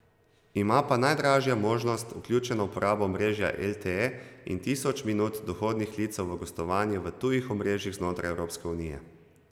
Ima pa najdražja možnost vključeno uporabo omrežja lte in tisoč minut dohodnih klicev v gostovanju v tujih omrežjih znotraj Evropske unije.